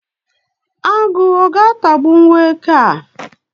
Agụ ọ ga-atagbụwu eke a?.